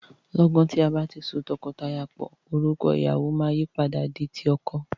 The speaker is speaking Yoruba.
Lọ́gan tí a bá ti so tọkọtìyàwó pò, orúkọ ìyàwọ máa yìí padà di ti ọkọ.